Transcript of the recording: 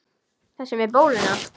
Þessi með bóluna?